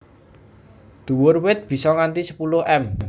Dhuwur wit bisa nganti sepuluh m